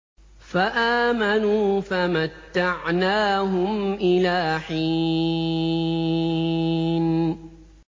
فَآمَنُوا فَمَتَّعْنَاهُمْ إِلَىٰ حِينٍ